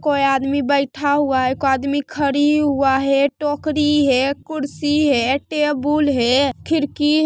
कोई आदमी बैठा हुआ है ऐको आदमी खड़ी हुआ है टोकरी है कुर्सी है टेबुल है खिरकी --